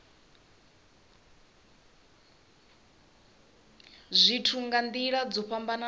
zwithu nga nila dzo fhambanaho